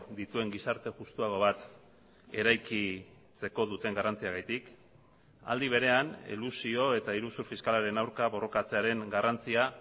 dituen gizarte justuago bat eraikitzeko duten garrantziagatik aldi berean elusio eta iruzur fiskalaren aurka borrokatzearen garrantzia